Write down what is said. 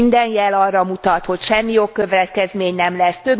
Minden jel arra mutat, hogy semmi jogkövetkezmény nem lesz.